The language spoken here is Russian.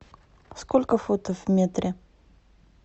сколько футов в метре